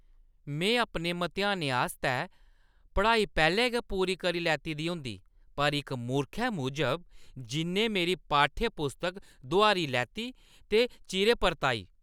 में अपने मतेहानें आस्तै पढ़ाई पैह्‌लें गै पूरी करी लैती दी होंदी, पर इक मूर्खै मूजब, जि'न्नै मेरी पाठ्य-पुस्तक दोहारी लैती ते चिरें परताई।